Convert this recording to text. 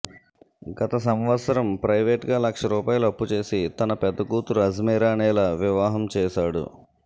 గత సంవత్సరం ప్రైవేట్గా లక్ష రూపాయలు అప్పుచేసి తన పెద్దకూతురు అజ్మీరా నీల వివాహం చేశాడు